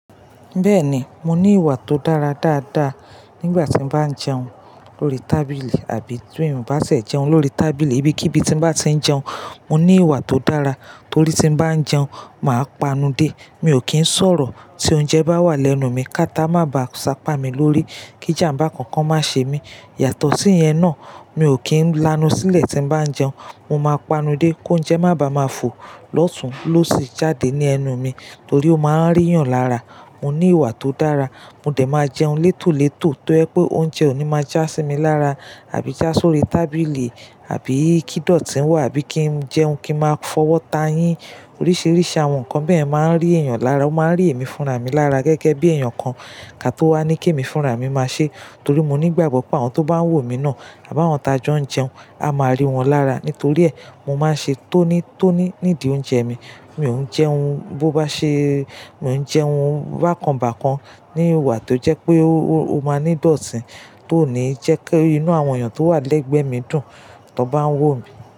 Bẹ́ẹ̀ni, mo ní ìwà tó dára dáadáa nígbà tí mo bá ń jẹun lórí tábìlì àbí tí èèyàn bá se jẹun lórí tábìlì, ibi kí ibi tí ń bá ti ń jẹun, mo ní ìwà tó dára torí tí ń bá ń jẹun, màá panudé. Mi ò kí ń sọ̀rọ̀ tí oúnjẹ bá wà lẹ́nu mi káta má ba sápa mi lórí kí jàmbá kankan má ṣe mí. Yàtọ̀ sí ìyẹn náà, mi ò kí ń lanu sílẹ̀ tí ń bá ń jẹun. Mo máa panudé kóunjẹ́ má ba máa fò lọ́tùn lósì jáde ní ẹnu mi torí ó má ń ríyan lára. Mo ní ìwà tó dára, mo dẹ̀ máa jẹun létòlétò tó jẹ́ pé oúnjẹ ò ní má já sí mi lára àbí já sórí tábìlì àbí kí dọ̀tí wà àbí kí ń jẹun kí ń máa fọwọ́ ta yín. Oríṣíríṣí àwọn nǹkan bẹ́ẹ̀ máa ń rí èèyàn lára, ó máa ń rí èmi fúnra mi lára gẹ́gẹ́ bí èèyàn kan ká tó wá ní kí èmi fúnra mi máa ṣe torí mo nígbàgbọ́ pé àwọn tó bá ń wò mí náà àbá àwọn ta jọ ń jẹun, a máa rí wọn lára. Nítorí ẹ, mo máa ń ṣe tónítóní nídi oúnjẹ mi. Mi ò ń jẹun bó bá ṣe, mi ò ń jẹun bákanbákan ní ìwà tó jẹ́ pé ó máa ní dọ̀tí tó ní jẹ́ kí inú àwọn èèyàn tó wà lẹ́gbẹ̀ẹ́ mi dùn tí wọ́n bá ń wò mí.